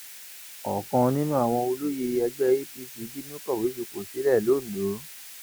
ọkan nínú àwọn olóyè ẹgbẹ apc bínú kọwé fipò sílẹ londo